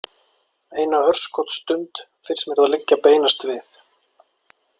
Eina örskotsstund finnst mér það liggja beinast við.